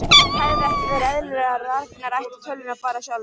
Hefði ekki verið eðlilegra að Ragnar ætti tölvuna bara sjálfur?